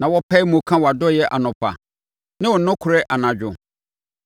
na wɔpae mu ka wʼadɔeɛ anɔpa ne wo nokorɛ anadwo,